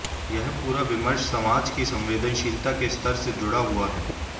यह पूरा विमर्श समाज की संवेदनशीलता के स्तर से जुड़ा हुआ है